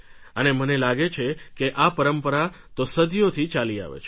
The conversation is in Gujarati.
અને મને લાગે છે કે આ પરંપરા તો સદીઓથી ચાલી આવે છે